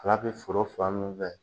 ala bɛ foro fan munnu fɛ